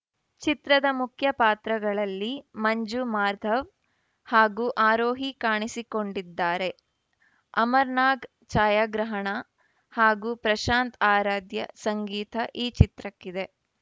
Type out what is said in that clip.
ಚಿತ್ರದ ಮುಖ್ಯ ಪಾತ್ರಗಳಲ್ಲಿ ಮಂಜು ಮಾರ್ದವ್‌ ಹಾಗೂ ಆರೋಹಿ ಕಾಣಿಸಿಕೊಂಡಿದ್ದಾರೆ ಅಮರ್‌ ನಾಗ್‌ ಛಾಯಾಗ್ರಹಣ ಹಾಗೂ ಪ್ರಶಾಂತ್‌ ಆರಾಧ್ಯ ಸಂಗೀತ ಈ ಚಿತ್ರಕ್ಕಿದೆ